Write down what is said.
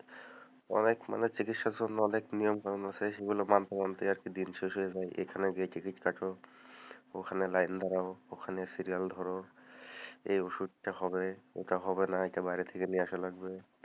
অনেক মানে, চিকিৎসার জন্য অনেক নিয়ম কানুন আছে সেগুলো মানতে মানতে দিন শেষ হয়ে যায় এখানে গিয়ে টিকিট কাটো, ওখানে লাইন দাও, ওখানে সিরিয়াল ধরো, এই ওষুধ টা হবে, এটা হবে না এটা বাইরে থেকে নিয়ে আসার লাগবে,